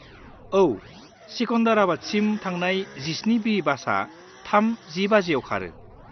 औ, सिकन्दराबादसिम थांनाय 17B बासआ 3:10 बाजिआव खारो।